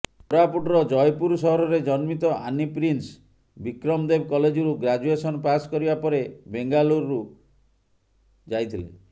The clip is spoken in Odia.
କୋରାପୁଟର ଜୟପୁର ସହରରେ ଜନ୍ମିତ ଆନି ପ୍ରିନ୍ସ ବିକ୍ରମଦେବ କଲେଜରୁ ଗ୍ରାଜୁଏସନ ପାସ୍ କରିବା ପରେ ବେଙ୍ଗାଳୁରୁ ଯାଇଥିଲେ